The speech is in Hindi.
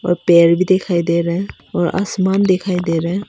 और पेड़ भी दिखाई दे रहा है और आसमान दिखाई दे रहा है।